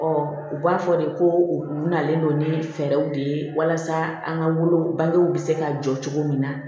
u b'a fɔ de ko u nalen don ni fɛɛrɛw de ye walasa an ka wolo bangew bɛ se ka jɔ cogo min na